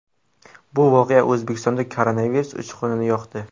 Bu voqea O‘zbekistonda koronavirus uchqunini yoqdi.